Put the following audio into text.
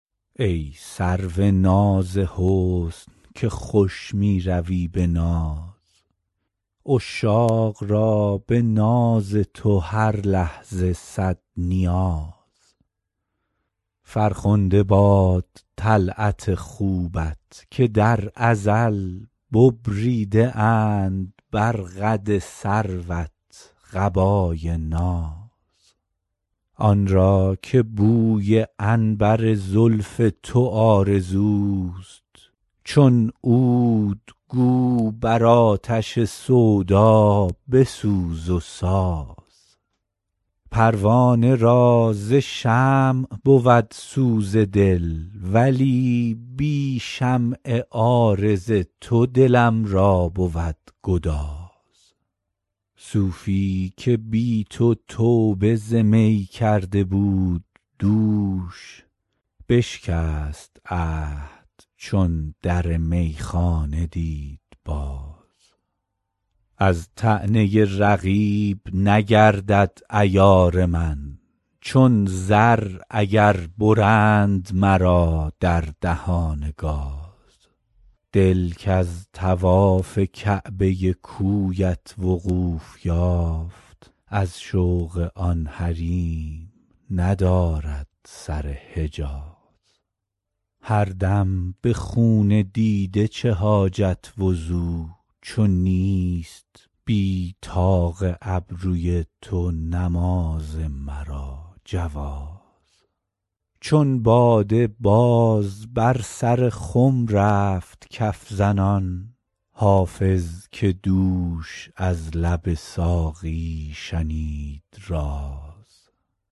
ای سرو ناز حسن که خوش می روی به ناز عشاق را به ناز تو هر لحظه صد نیاز فرخنده باد طلعت خوبت که در ازل ببریده اند بر قد سروت قبای ناز آن را که بوی عنبر زلف تو آرزوست چون عود گو بر آتش سودا بسوز و ساز پروانه را ز شمع بود سوز دل ولی بی شمع عارض تو دلم را بود گداز صوفی که بی تو توبه ز می کرده بود دوش بشکست عهد چون در میخانه دید باز از طعنه رقیب نگردد عیار من چون زر اگر برند مرا در دهان گاز دل کز طواف کعبه کویت وقوف یافت از شوق آن حریم ندارد سر حجاز هر دم به خون دیده چه حاجت وضو چو نیست بی طاق ابروی تو نماز مرا جواز چون باده باز بر سر خم رفت کف زنان حافظ که دوش از لب ساقی شنید راز